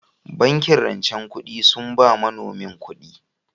Bankin rancen kudi sun ba manomi kudi